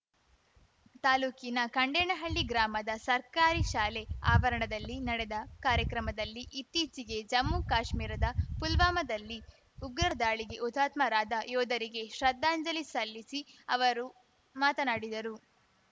ತಾಲೂಕಿನ ಖಂಡೇನಹಳ್ಳಿ ಗ್ರಾಮದ ಸರ್ಕಾರಿ ಶಾಲೆ ಆವರಣದಲ್ಲಿ ನಡೆದ ಕಾರ್ಯಕ್ರಮದಲ್ಲಿ ಇತ್ತೀಚೆಗೆ ಜಮ್ಮುಕಾಶ್ಮೀರದ ಪುಲ್ವಾಮದಲ್ಲಿ ಉಗ್ರರ ದಾಳಿಗೆ ಹುತಾತ್ಮರಾದ ಯೋಧರಿಗೆ ಶ್ರದ್ಧಾಂಜಲಿ ಸಲ್ಲಿಸಿ ಅವರು ಮಾತನಾಡಿದರು